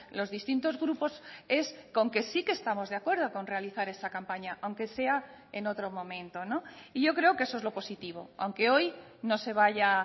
los distintos grupos es con que sí que estamos de acuerdo con realizar esa campaña aunque sea en otro momento y yo creo que eso es lo positivo aunque hoy no se vaya